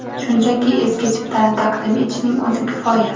Shunchaki eski chiptani taqdim etishning o‘zi kifoya.